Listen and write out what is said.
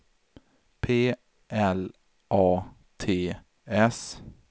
P L A T S